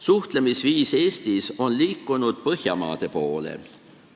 Suhtlemisviis Eestis on liikunud Põhjamaade suhtlemisviisi poole.